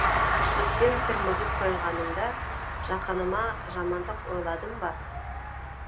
тіршіліктен тірмізік тойғанымда жақыныма жамандық ойладым ба